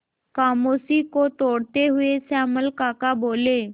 खामोशी को तोड़ते हुए श्यामल काका बोले